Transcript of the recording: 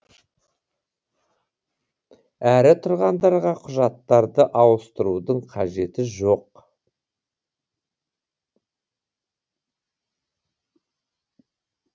әрі тұрғындарға құжаттарды ауыстырудың қажеті жоқ